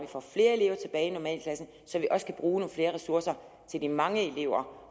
får flere elever tilbage i normalklassen så vi også kan bruge nogle flere ressourcer til de mange elever